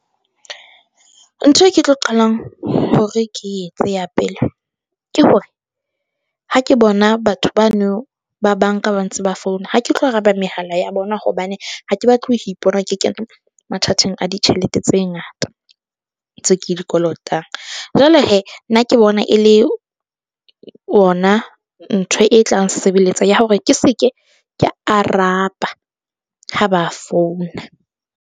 Ntho eo ke tlo qalang hore ke etse ya pele ke hore, ha ke bona batho bano ba bank-a ba ntse ba founa. Ha ke tlo araba mehala ya bona hobane ha ke batle ho ipona ke kena mathateng a ditjhelete tse ngata tse ke di kolotang. Jwale hee nna ke bona e le ona ntho e tlang ntshebeletsa ya hore ke se ke ka araba ha ba founa.